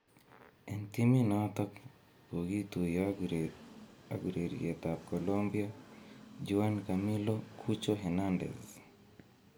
En timit noton kogituiyo ak ureriet ab Colombia Juan Camilo 'Cucho' Hernandez.